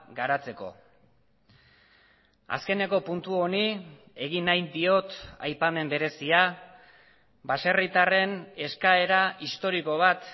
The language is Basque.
garatzeko azkeneko puntu honi egin nahi diot aipamen berezia baserritarren eskaera historiko bat